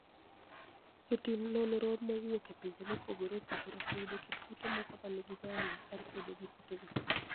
Jotim noniro mowuok e pinije mopogore opogore oseyudo kit kute moko ma niigi niyalo mar kedo gi kutego